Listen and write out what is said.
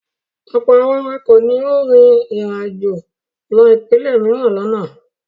Ọ̀pọ̀ àwọn awakọ̀ ni ó rin ìrìnàjò lọ ìpínlẹ̀ mìíràn lánàá.